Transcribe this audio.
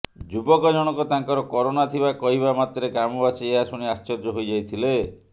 ଯୁବକ ଜଣକ ତାଙ୍କର କରୋନା ଥିବା କହିବା ମାତ୍ରେ ଗ୍ରାମବାସୀ ଏହା ଶୁଣି ଆଶ୍ଚର୍ଯ୍ୟ ହୋଇଯାଇଥିଲେ